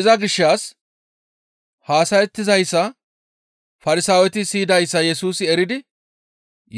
Iza gishshas haasayettizayssa Farsaaweti siyidayssa Yesusi eridi